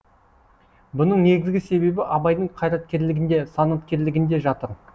бұның негізгі себебі абайдың қайраткерлігінде санаткерлігінде жатыр